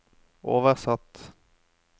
oversatt